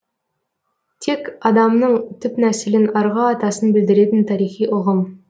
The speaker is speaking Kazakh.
тек адамның түп нәсілін арғы атасын білдіретін тарихи ұғым